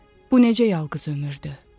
Bu necə yalqız ömürdü?